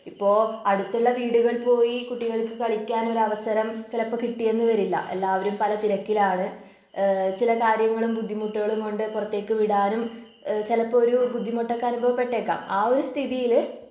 അപ്പോ അടുത്തുള്ള വീടുകൾ പോയി കുട്ടികൾക്ക് കളിക്കാനൊരവസരം ചിലപ്പോ കിട്ടിയെന്നുവരില്ല. എല്ലാവരും പല തിരക്കിലാണ് ഏഹ് ചില കാര്യങ്ങളും ബുദ്ധിമുട്ടുകളും കൊണ്ട് പുറത്തേക്ക് വിടാനും ഏഹ് ചിലപ്പോ ഒരു ബുദ്ധിമുട്ടൊക്കെ അനുഭവപ്പെട്ടേക്കാം ആ ഒരു സ്ഥിതിയില്